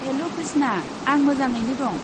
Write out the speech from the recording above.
हेल' कृष्ना। आं मोजाङैनो दं।